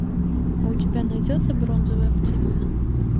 у тебя найдется бронзовая птица